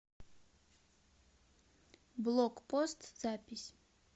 блокпост запись